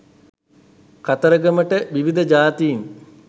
කතරගමට විවිධ ජාතීන්